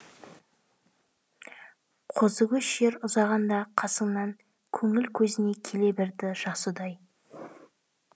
қозыкөш жер ұзағанда қасыңнан көңіл көзіне келе берді жас ұдай